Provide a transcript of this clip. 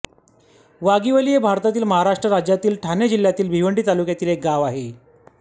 वाघिवली हे भारतातील महाराष्ट्र राज्यातील ठाणे जिल्ह्यातील भिवंडी तालुक्यातील एक गाव आहे